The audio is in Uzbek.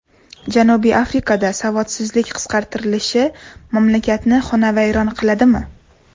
Janubiy Afrikada savodsizlik qisqartilishi mamlakatni xonavayron qiladimi?